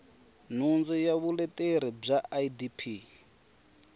nhundzu ya vuleteri bya idp